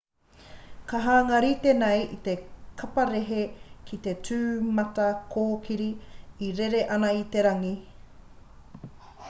ka hanga rite nei te kaparehe ki te tūmatakōkiri e rere ana i te rangi